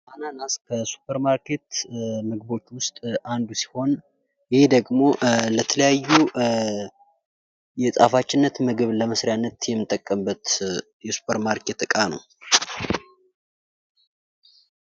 አናናስ ከሱፐር ማርኬት ምግቦች ውስጥ አንዱ ሲሆን ይህ ደግሞ ለተለያዩ የጣፋጭነት ምግብ መስሪያነት የሚጠቀምበት የሱፐር ማርኬት ዕቃ ነው።